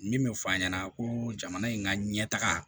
Min bɛ fɔ a ɲɛna ko jamana in ka ɲɛ taga